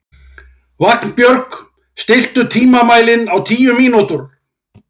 Vagnbjörg, stilltu tímamælinn á tíu mínútur.